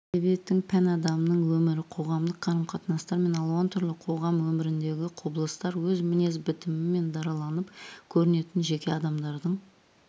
әдебиеттің пән адамның өмірі қоғамдық қарым-қатынастар мен алуан түрлі қоғам өміріндегі құбылыстар өз мінез-бітімімен дараланып көрінетін жеке адамдардың